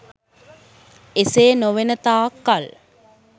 එසේ නොවනතාක් කල්